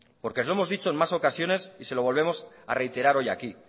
porque os hemos dicho en más ocasiones y se lo volvemos a reiterar hoy aquí